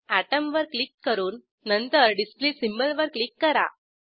atom वर click करून नंतर डिस्प्ले सिम्बॉल वर क्लिक करा